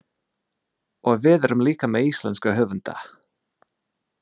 Og við erum líka með íslenska höfunda.